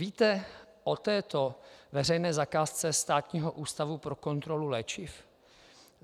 Víte o této veřejné zakázce Státního ústavu pro kontrolu léčiv?